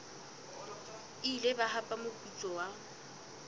ile ba hapa moputso wa